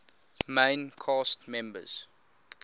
main cast members